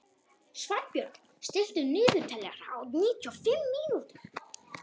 Svanbjörn, stilltu niðurteljara á níutíu og fimm mínútur.